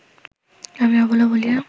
আমি অবলা বলিয়া